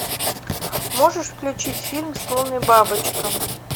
можешь включить фильм слон и бабочка